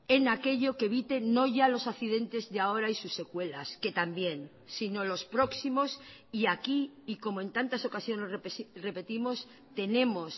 en aquello que evite no ya los accidentes de ahora y sus secuelas que también sino los próximos y aquí y como en tantas ocasiones repetimos tenemos